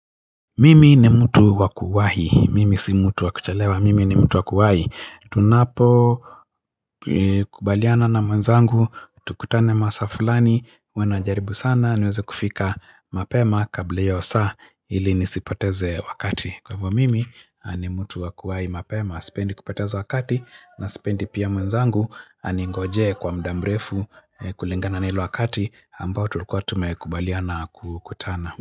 Mimi ni mtu wakuwahi, mimi si mtu wakuchelewa, mimi ni mtu wakuwahi, tunapo kubaliana na mwenzangu, tukutane masaa fulani, huwa najaribu sana, niweze kufika mapema kabla ya hiyo saa, ili nisipoteze wakati, kwa hivyo mimi ni mtu wakuwahi mapema, sipendi kupoteza wakati, na sipendi pia mwenzangu, aningoje kwa muda mrefu kulingana na ile wakati, ambayo tulikuwa tumekubaliana kukutana.